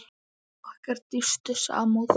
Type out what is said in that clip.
Okkar dýpstu samúð.